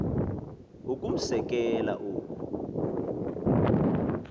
ukumse kela oku